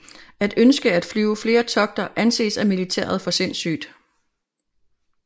At ønske at flyve flere togter anses af militæret for sindssygt